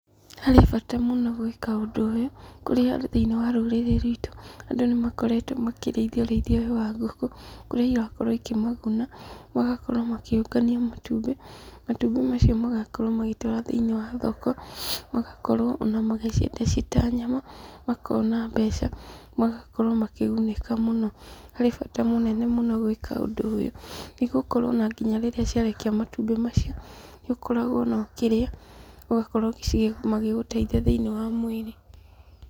Harĩ bata mũno gwĩka ũndũ ũyũ, kũrĩa thĩiniĩ wa rũrĩrĩ rwitũ, andũ nĩ makoretwo makĩrĩithia ũrĩithia ũyũ wa ngũkũ, kũrĩa irakorwo ikĩmaguna, magakorwo makĩũngania matumbĩ, matumbĩ macio magakorwo magĩtwara thĩiniĩ wa thoko, magakorwo ona magĩciendia ciĩ ta nyama, makona mbeca. Magakorwo makĩgunĩka mũno. Harĩ bata mũnene mũno gwĩka ũndũ ũyũ, nĩ gũkorwo ona nginya rĩrĩa ciarekia matumbĩ macio, nĩ ũkoragwo ona ũkĩrĩa, ũgakorwo ũgici magĩgũteithia thĩiniĩ wa mwĩrĩ.